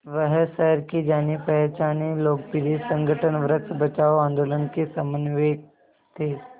वह शहर के जानेपहचाने लोकप्रिय संगठन वृक्ष बचाओ आंदोलन के समन्वयक थे